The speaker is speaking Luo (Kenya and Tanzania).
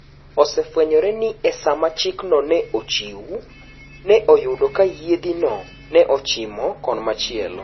Osefwenyore ni esama chik no ne ochiu ne oyudo ka yiedhi no ne ochima kon machielo.